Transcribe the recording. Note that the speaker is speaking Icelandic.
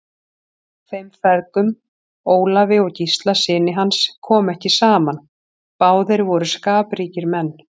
Þeim feðgum, Ólafi og Gísla syni hans, kom ekki saman, báðir voru skapríkir menn.